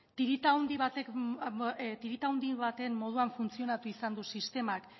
tirita handi baten moduan funtzionatu izan du sistemak